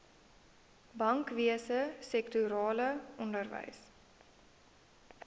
bankwese sektorale onderwys